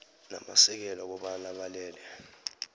namasekela kobana balele